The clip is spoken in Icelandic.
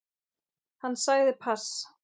Hann sagði pass.